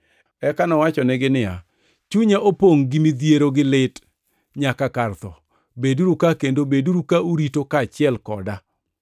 Eka nowachonegi niya, “Chunya opongʼ gi midhiero gi lit nyaka kar tho. Beduru ka kendo beduru ka urito kaachiel koda.”